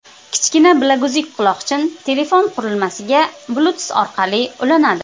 Kichkina bilaguzuk-quloqchin telefon qurilmasiga bluetooth orqali ulanadi.